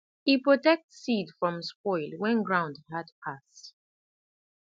e protect seed from spoil when ground hard pass